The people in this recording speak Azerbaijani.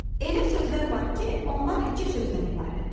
Elə sözlər var ki, onlar iki sözdən ibarətdir.